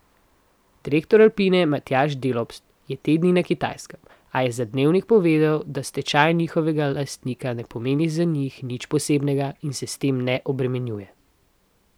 Direktor Alpine Matjaž Delopst je te dni na Kitajskem, a je za Dnevnik povedal, da stečaj njihovega lastnika ne pomeni za njih nič posebnega in se s tem ne obremenjuje.